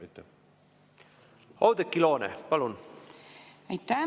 Oudekki Loone, palun!